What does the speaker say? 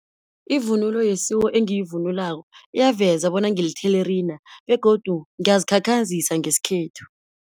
Ivunulo yesiko engiyivunulako, eyaveza bona ngilithelerina begodu ngiyazikhakhazisa ngesikhethu.